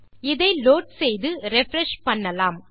இதை லோட் செய்து ரிஃப்ரெஷ் செய்யலாம்